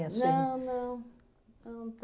Não, não. Não